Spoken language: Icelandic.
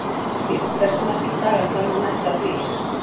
Hrafntýr, hversu margir dagar fram að næsta fríi?